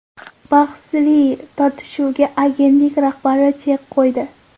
Bahsli tortishuvga agentlik rahbari chek qo‘ydi.